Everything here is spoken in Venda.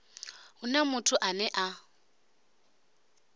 hu na muthu ane a